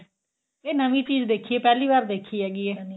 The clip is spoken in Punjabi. ਇਹ ਨਵੀੰ ਚੀਜ਼ ਦੇਖੀ ਏ ਪਹਿਲੀ ਵਾਰ ਦੇਖੀ ਹੈਗੀ ਏ